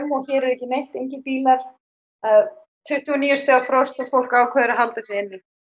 hér er ekki neitt engir bílar það tuttugu og níu gráðu frost og fólk ákveður að halda sig inni